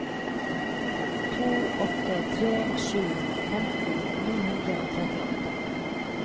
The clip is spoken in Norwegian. to åtte tre sju femti ni hundre og trettiåtte